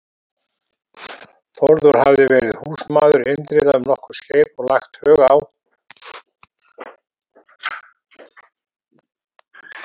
Þórður hafði verið húsmaður Indriða um nokkurt skeið og lagt hug á